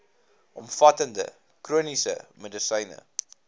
omvattende chroniese medisyne